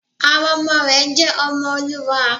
Àwọn ọmọ rẹ̀ jẹ́ ọmọ Olúwa